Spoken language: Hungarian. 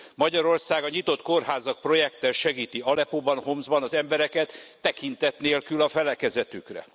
Magyarország a nyitott kórházak projekttel segíti Aleppóban, Homszban az embereket tekintet nélkül a felekezetükre.